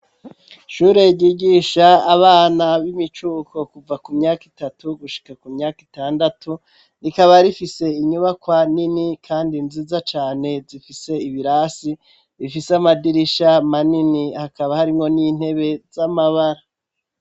Ishure ryigisha, abana b'imicuko, kuva ku myaka itatu, gushika ku myaka itandatu; rikaba rifise, inyubakwa nini, kandi nziza cane, zifise ibirasi, bifise amadirisha manini; hakaba harimwo n'intebe, z'amabara.